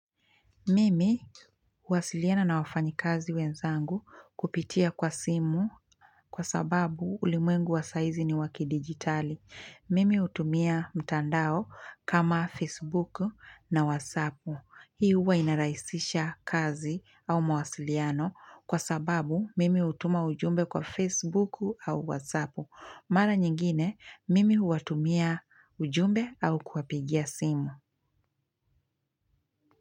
Mimi huwasiliana na wafanyikazi wenzangu kupitia kwa simu kwa sababu ulimwengu wa sahizi ni wakidigitali. Mimi hutumia mtandao kama Facebook na WhatsApp. Hii huwa inarahisisha kazi au mawasiliano kwa sababu mimi hutuma ujumbe kwa Facebook au WhatsApp. Mara nyingine mimi huwatumia ujumbe au kuwapigia simu.